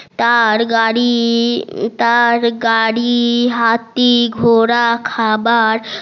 তার গাড়ি তার গাড়ি হাতি ঘোরা খাবার